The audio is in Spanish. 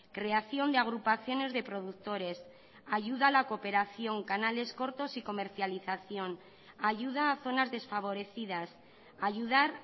creación de agrupaciones de productores ayuda a la cooperación canales cortos y comercialización ayuda a zonas desfavorecidas ayudar